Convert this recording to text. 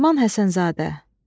Nəriman Həsənzadə.